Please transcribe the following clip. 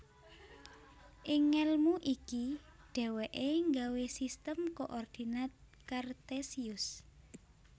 Ing ngelmu iki dheweke nggawe Sistem Koordinat Kartesius